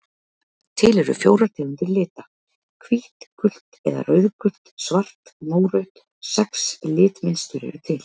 Til eru fjórar tegundir lita: hvítt gult eða rauðgult svart mórautt Sex litmynstur eru til.